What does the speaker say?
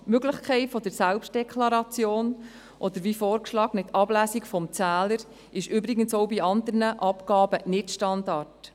Die Möglichkeit der Selbstdeklaration oder die vorgeschlagene Ablesung des Zählers ist übrigens auch bei anderen Abgaben nicht Standard.